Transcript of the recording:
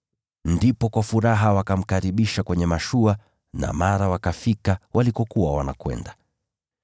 Ndipo wakamkaribisha kwa furaha ndani ya mashua, na mara wakafika ufuoni walikokuwa wakienda.